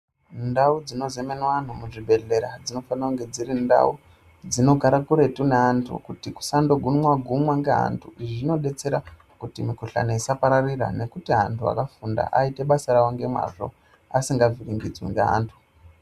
Ndau dzinozemenwa anhu muzvibhedhlera dzinofana kunge dziri ndau dzinogara kuretu neantu kuti kusandogumwa-gumwa ngeantu. Izvi zvinodetsera kuti mikuhlani isapararira nekuti antu akafunda aite basa ravo ngemazvo asingavh iringidzwi ngeantu.